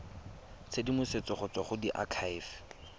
tshedimosetso go tswa go diakhaefe